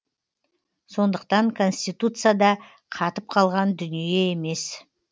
сондықтан конституция да қатып қалған дүние емес